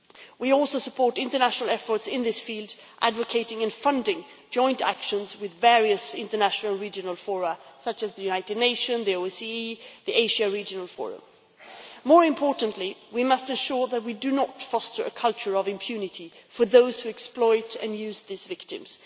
We also support international efforts in this field, advocating and funding joint actions with various international regional fora such as the United Nations, the OECE and the Asia Regional Forum. More importantly, we must ensure that we do not foster a culture of impunity for those who exploit and use these victims.